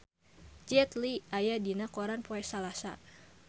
Jet Li aya dina koran poe Salasa